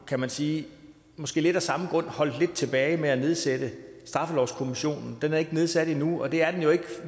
kan man sige måske lidt af samme grund holdt lidt tilbage med at nedsætte straffelovskommissionen den er ikke nedsat endnu og det er den